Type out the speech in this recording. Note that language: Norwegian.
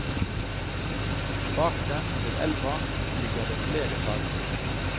Bak dem, ved elva, ligger det flere sagbruk.